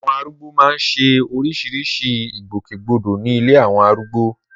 Àwọn arúgbó máa ń ṣe oríṣiríṣi ìgbòkègbodò ní ilé àwọn arúgbó